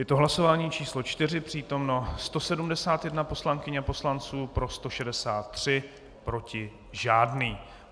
Je to hlasování číslo 4, přítomno 171 poslankyň a poslanců, pro 163, proti žádný.